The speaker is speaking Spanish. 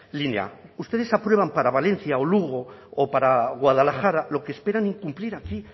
línea ustedes aprueban para valencia o lugo o para guadalajara lo que esperan incumplir aquí